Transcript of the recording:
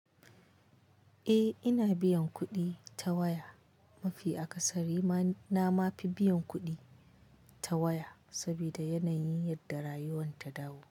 Eh ina biyan kuɗi ta waya. Mafi a ƙasarima na mafi biyan kuɗi ta waya saboda yanayin yadda rayuwa ta dawo.